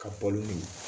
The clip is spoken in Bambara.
Ka bɔ n'u ye